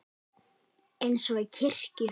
Eins og í kirkju.